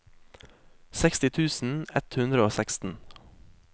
seksti tusen ett hundre og seksten